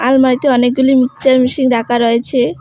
আলমারিতে অনেকগুলি mixer machine রাখা রয়েছে।